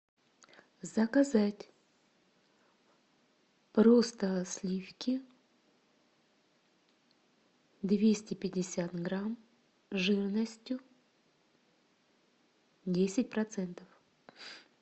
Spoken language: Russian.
заказать просто сливки двести пятьдесят грамм жирностью десять процентов